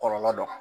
Kɔlɔlɔ dɔ